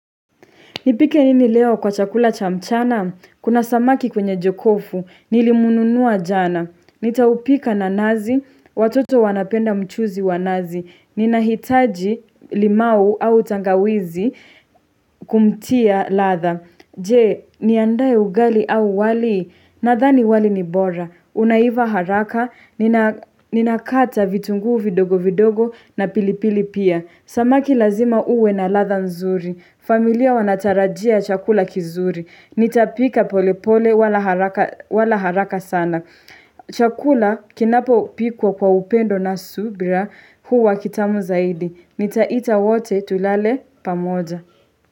Nipike nini leo kwa chakula cha mchana? Kuna samaki kwenye jokofu. Nilimnunua jana. Nitaupika na nazi. Watoto wanapenda mchuzi wa nazi. Ninahitaji limau au tangawizi kumtia ladha. Je, niandae ugali au wali nadhani wali ni bora. Unaiva haraka, ninakata vitunguu vidogo vidogo na pilipili pia. Samaki lazima uwe na ladha nzuri. Familia wanatarajia chakula kizuri. Nitapika pole pole wala haraka sana. Chakula kinapopikwa kwa upendo na subira huwa kitamu zaidi. Nitaita wote tulale pamoja.